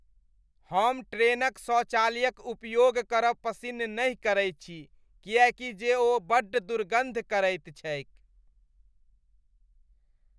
हम ट्रेनक शौचालयक उपयोग करब पसिन्न नहि करै छी किएकी जे ओ बड्ड दुर्गन्ध करैत छैक।